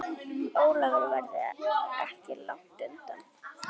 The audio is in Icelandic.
Ólafur verður ekki langt undan.